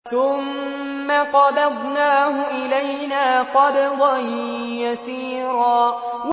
ثُمَّ قَبَضْنَاهُ إِلَيْنَا قَبْضًا يَسِيرًا